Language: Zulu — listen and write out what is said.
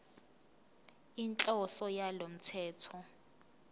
inhloso yalo mthetho